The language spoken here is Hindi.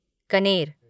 कनेर